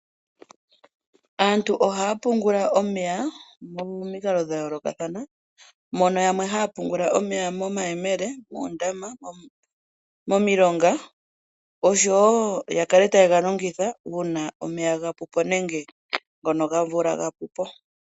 Aantu ohaya pungula omeya momikalo dha yoolokathana, mono yamwe haya pungula omeya momayemele, moondama, momilonga, osho wo ya kale taye ga longitha uuna omeya ga pu po nenge ngono gomvula ga pu po.